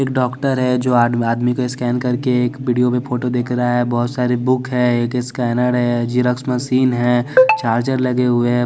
एक डॉक्टर है जो आद आदमी को स्कैन करके एक वीडियो में फोटो देख रहा है बहुत सारी बुक है एक स्कैनर है जेरॉक्स मशीन है चार्ज लगे हुए हैं।